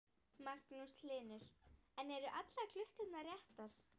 Magnús Hlynur: En eru allar klukkurnar réttar?